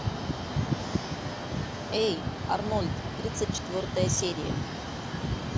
эй арнольд тридцать четвертая серия